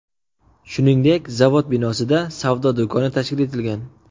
Shuningdek, zavod binosida savdo do‘koni tashkil etilgan.